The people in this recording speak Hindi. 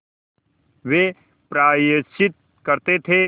वे प्रायश्चित करते थे